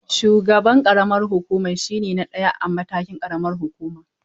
Shugaban ƙaramar hukuma shine na ɗaya a matakin ƙaramar hukuma.